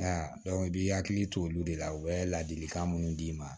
i b'i hakili to olu de la u bɛ ladilikan minnu d'i ma